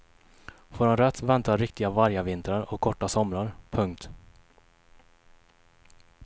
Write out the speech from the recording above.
Får han rätt väntar riktiga vargavintrar och korta somrar. punkt